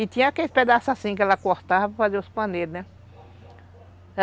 E tinha aquele pedaço assim que ela cortava para fazer os paneiros, né?